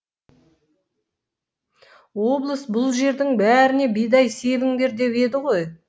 облыс бұл жердің бәріне бидай себіңдер деп еді ғой